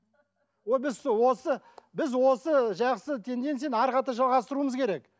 біз осы біз осы жақсы тенденцияны әрі қарата жалғастыруымыз керек